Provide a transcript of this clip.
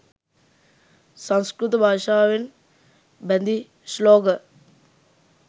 සංස්කෘත භාෂාවෙන් බැඳි ශ්ලෝක